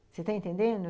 Você está entendendo?